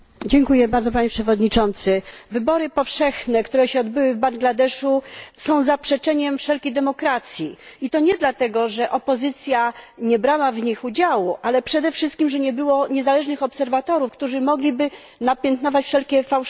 Panie Przewodniczący! Wybory powszechne, które się odbyły w Bangladeszu, są zaprzeczeniem wszelkiej demokracji i to nie dlatego, że opozycja nie brała w nich udziału, ale przede wszystkim dlatego, że nie było niezależnych obserwatorów, którzy mogliby napiętnować wszelkie fałszerstwa.